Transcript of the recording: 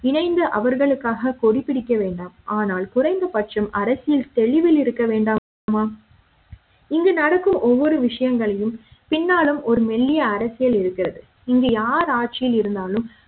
இணைந்து அவர்களுக்காக கொடி பிடிக்க வேண்டாம் ஆனால் குறைந்த பட்சம் அரசியல் தெளிவில் இருக்க வேண்டாமா இங்கு நடக்கும் ஒவ்வொரு விஷயங்களையும் பின்னாலும் ஒரு மெல்லிய அரசியல் இருக்கிறது இங்கு யார் ஆட்சி யில் இருந்தாலும்